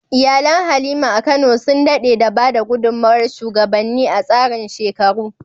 Iyalin Halima a Kano sun daɗe da ba da gudunmawar shugabanni a tsarin shekaru.